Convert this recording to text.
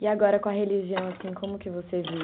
E agora com a religião, assim, como que você vive?